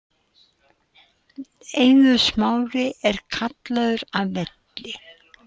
Eiður Smári er kallaður af velli